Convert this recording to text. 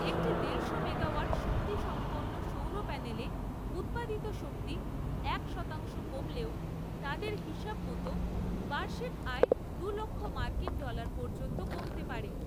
একটি দেড়শো মেগাওয়াট শক্তিসম্পন্ন সৌরপ্যানেলে উৎপাদিত শক্তি এক শতাংশ কমলেও তাঁদের হিসাব মতো বার্ষিক আয় দুলক্ষ মার্কিন ডলার পর্যন্ত কমতে পারে।